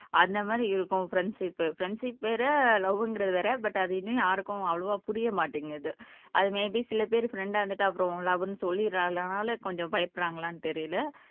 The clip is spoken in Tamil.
அந்த மாதிரி இருக்கும் ஃப்ரண்ட்ஷிப் ஃப்ரண்ட்ஷிப் வேற லவ்ங்குறது வேற பட் அது இன்னும் யாருக்கும் அவ்வளவா புரிய மாட்டீங்குது அது மேய்பீ சில பேரு ஃப்ரண்டா இருந்துட்டு அப்புறம் லவ்வுன்னு சொல்லிர்றதுனால கொஞ்சம் பயப்படுறாங்களான்னு தெரியல